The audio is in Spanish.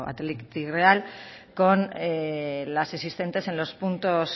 athletic real con las existentes